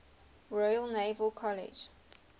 royal naval college